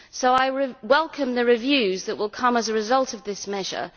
So I welcome the reviews that will come as a result of this measure.